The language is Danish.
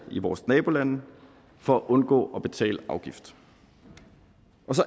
i vores nabolande for at undgå at betale afgift